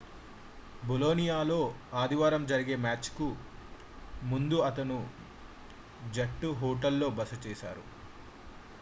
బొలోనియాతో ఆదివారం జరిగే మ్యాచ్ కు ముందు అతను జట్టు హోటల్ లో బస చేశాడు